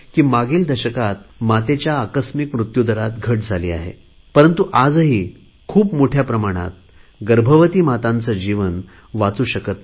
मागील दशकात मातेच्या अकस्मात मृत्युदरात घट झाली आहे परंतु आजही खूप मोठ्या प्रमाणात गर्भवती मातांचा जीव वाचू शकत नाही